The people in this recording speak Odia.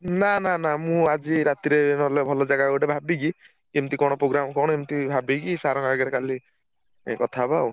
ନାଁ ନାଁ ନାଁ ମୁଁ ଆଜି ରାତିରେ ଭଲ ଜାଗା ଗୋଟେ ଭାବିକି କେମିତି କଣ program କଣ ଏମତି ଭାବିକି sir ଙ୍କ ଆଗରେ କାଲି ଯାଇ କଥାହବା ଆଉ।